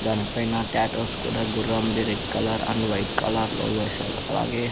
దానిపైన టాటూస్ కూడా గుర్రంవి రెడ్ కలర్ అండ్ వైట్ కలర్లో వేశారు అలాగే --